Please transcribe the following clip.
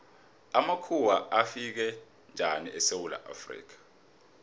amakhuwa afika njani esewula afrika